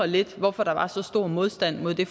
lidt hvorfor der var så stor modstand mod det